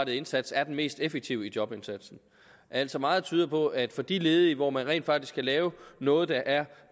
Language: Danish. indsats er den mest effektive i jobindsatsen altså meget tyder på at for de ledige hvor man rent faktisk kan lave noget der er